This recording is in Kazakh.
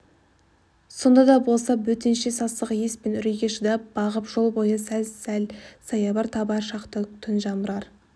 сонда да болса бөтенше сасық иіс пен үрейге шыдап бағып жол бойы сәл-сәл саябыр табар шақты түн жамырар